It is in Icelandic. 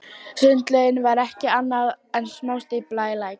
Sundlaugin var ekki annað en smástífla í læk.